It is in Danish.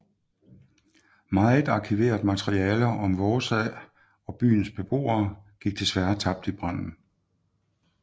Meget arkiveret materiale om Vaasa og byens beboere gik desværre tabt i branden